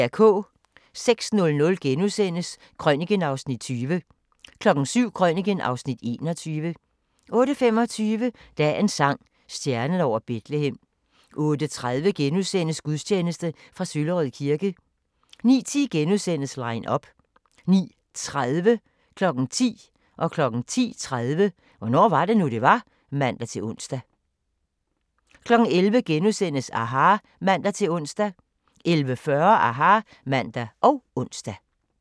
06:00: Krøniken (Afs. 20)* 07:00: Krøniken (Afs. 21) 08:25: Dagens sang: Stjernen over Betlehem 08:30: Gudstjeneste fra Søllerød kirke * 09:10: Line up * 09:30: Hvornår var det nu, det var? (man-ons) 10:00: Hvornår var det nu, det var? (man-ons) 10:30: Hvornår var det nu, det var? (man-ons) 11:00: aHA! *(man-ons) 11:40: aHA! (man og ons)